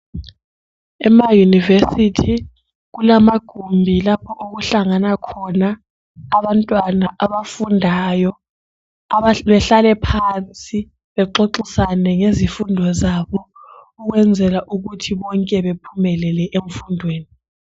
EmaYunivesi kulamagumbi lapho okuhlangana khona abantwana abafundayo behlale phansi bexoxisane ngezifundo zabo ukwenzela ukuthi bonke bephumelele emfundweni.